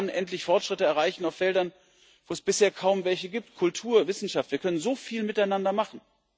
Wir können dann endlich Fortschritte erreichen auf Feldern, wo es bisher kaum welche gibt Kultur, Wissenschaft wir können so viel miteinander machen.